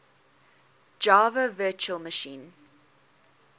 java virtual machine